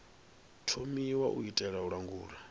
thomiwa u itela u langula